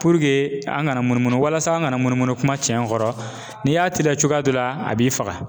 Puruke an kana munumunu walasa an kana munumunu kuma cɛn kɔrɔ n'i y'a teliya cogoya dɔ la a b'i faga.